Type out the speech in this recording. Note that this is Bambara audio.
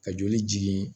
Ka joli jigin